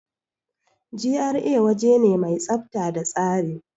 GRA waje ne mai tsafta da tsari.